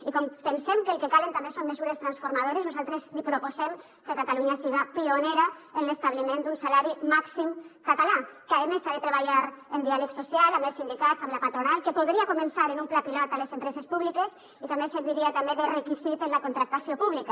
i com pensem que el que calen també són mesures transformadores nosaltres li proposem que catalunya siga pionera en l’establiment d’un salari màxim català que a més s’ha de treballar en diàleg social amb els sindicats amb la patronal que podria començar amb un pla pilot a les empreses públiques i que a més serviria també de requisit en la contractació pública